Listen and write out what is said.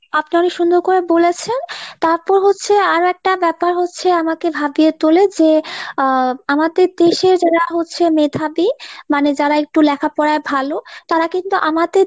আপনারে সুন্দর করে বলেছেন তাপর হচ্ছে আরো একটা ব্যাপার হচ্ছে আমাকে ভাবিয়ে তোলে যে আহ আমাদের দেশে যারা হচ্ছে মেধাবী মানে যারা একটু লেখাপড়ায় ভালো তারা কিন্তু আমাদের